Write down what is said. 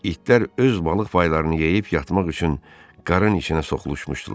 İtlər öz balıq paylarını yeyib yatmaq üçün qarın içinə soxuluşmuşdular.